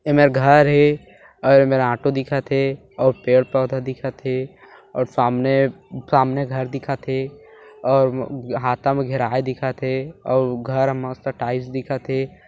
एमेर घर हे अऊ एमेर ऑटो दिखत हे और पेड़ पौधा दिखत हे और सामने सामने घर दिखत हे अऊ अहाता घेराए दिखत हे अऊ घर उमा टाइल्स दिखत हे।